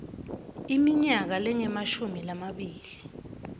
iminyaka lengemashumi lamabili